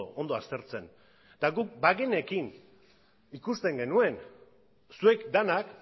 ondo aztertzen eta guk bagenekien ikusten genuen zuek denak